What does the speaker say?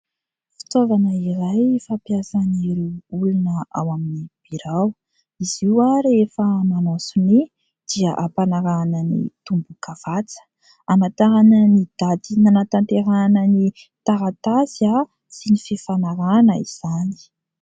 Fitaovana iray fampiasan'ireo olona ao amin'ny birao. Izy io rehefa manao sonia dia hampanarahana ny tombokavatsa hamatarana ny daty nanatanterahana ny taratasy sy ny fifanarahana izany.